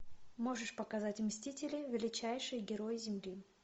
можешь показать мстители величайшие герои земли